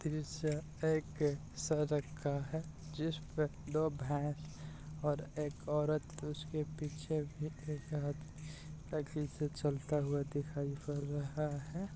दृश्य एक सड़क का है जिस पर दो भैंस और एक औरत उसके पीछे चलता हुआ दिखाई पड़ रहा है।